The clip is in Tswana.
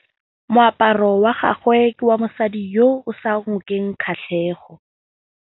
Moaparô wa gagwe ke wa mosadi yo o sa ngôkeng kgatlhegô.